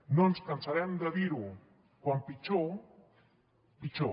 no ens cansarem de dir ho com pitjor pitjor